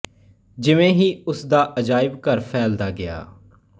ਜਿਵੇਂ ਹੀ ਉਸ ਦਾ ਅਜਾਇਬ ਘਰ ਫੈਲਦਾ ਗਿਆ